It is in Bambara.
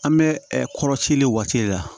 An bɛ kɔrɔcɛ le waati de la